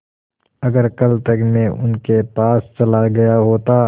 अगर कल तक में उनके पास चला गया होता